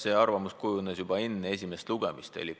See arvamus kujunes juba enne esimest lugemist.